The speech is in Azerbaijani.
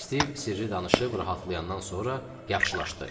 Stiv sirri danışıb rahatlayandan sonra yaxşılaşdı.